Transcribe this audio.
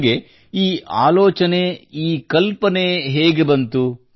ನಿಮಗೆ ಈ ಆಲೋಚನೆ ಈ ಕಲ್ಪನೆ ಹೇಗೆ ಬಂತು